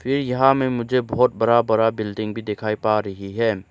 ये यहां में मुझे बहुत बड़ा बड़ा बिल्डिंग भी दिखाई पा रही है।